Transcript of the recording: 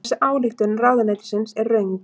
Þessi ályktun ráðuneytisins er röng